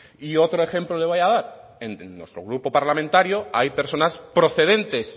y otro ejemplo le voy a dar en nuestro grupo parlamentario hay personas procedentes